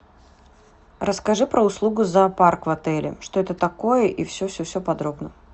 расскажи про услугу зоопарк в отеле что это такое и все все все подробно